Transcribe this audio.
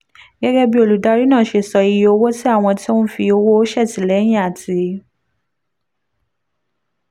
gẹ́gẹ́ bí olùdarí náà ṣe sọ iye owó tí àwọn tó ń fi owó ṣètìlẹ́yìn àti